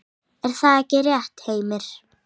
Er það ekki rétt, Heimir?